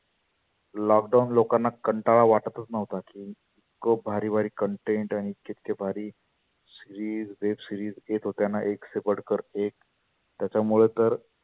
lockdown लोकांना कंटाळा वाटच नव्हता. इतके भारी भारी content इतके इतके भारी series, web series येत होत्याना एकसे बढकर एक त्याच्यामुळ तर